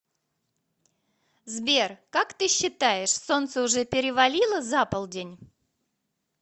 сбер как ты считаешь солнце уже перевалило за полдень